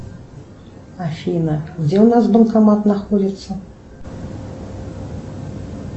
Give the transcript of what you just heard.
афина где у нас банкомат находится